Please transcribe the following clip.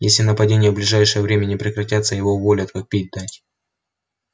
если нападения в ближайшее время не прекратятся его уволят как пить дать